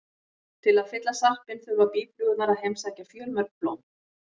Til að fylla sarpinn þurfa býflugurnar að heimsækja fjölmörg blóm.